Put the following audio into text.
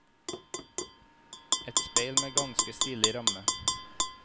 Et speil med ganske stilig ramme.